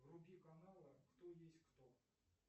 вруби канал кто есть кто